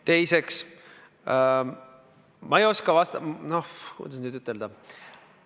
Teiseks, kuidas nüüd öelda ...